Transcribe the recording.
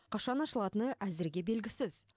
қашан ашылатыны әзірге белгісіз